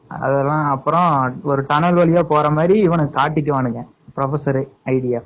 அதெல்லாம் அப்பறம் ஒரு டனல் வழியா போறமாதிரி இவனுங்க காட்டிக்குவானுங்க professor idea